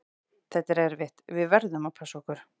Þetta er erfitt, við verðum að passa okkur.